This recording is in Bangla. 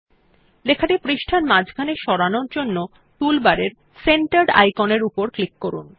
lলেখাটি পৃষ্টার মাঝখানে সরানোর জন্য টুলবারের সেন্টার্ড আইকনের উপর ক্লিক করুন